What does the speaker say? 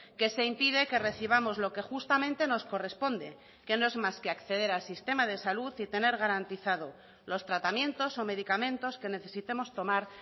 que se impide que recibamos lo que justamente nos corresponde que no es más que acceder al sistema de salud y tener garantizado los tratamientos o medicamentos que necesitemos tomar